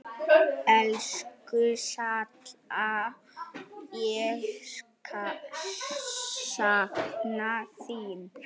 Elsku Salla, ég sakna þín.